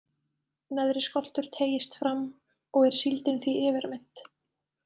Neðri skoltur teygist fram, og er síldin því yfirmynnt.